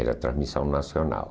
Era transmissão nacional.